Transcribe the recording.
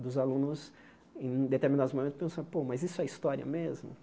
Dos alunos, em determinados momentos, pensar, pô, mas isso é história mesmo?